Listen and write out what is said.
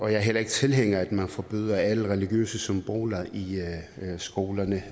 heller ikke tilhænger af at man forbyder alle religiøse symboler i skolerne